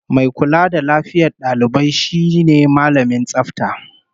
Mai kula da lafiyar dalibai shine Mallamin Tsafta